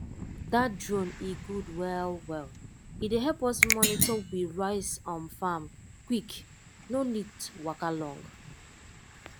that drone e good well well e dey help us monitor rice from farm quick no need waka long